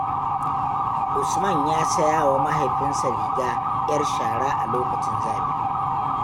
Usman ya sayawa mahaifinsa riga 'yar shara a lokacin zafi.